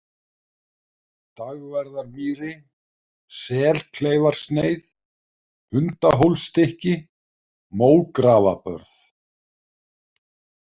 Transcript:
Dagverðarmýri, Selkleifarsneið, Hundahólsstykki, Mógrafabörð